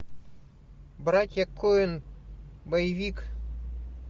братья коэн боевик